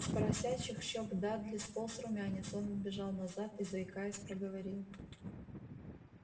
с поросячьих щёк дадли сполз румянец он отбежал назад и заикаясь проговорил